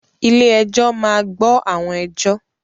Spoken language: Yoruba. Ilé-ẹjọ́ máa gbọ́ àwọn ẹjọ́.